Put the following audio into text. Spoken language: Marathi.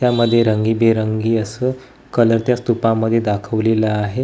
यामध्ये रंगीबेरंगी असं कलर त्या स्तुपामध्ये दाखवलेलं आहे.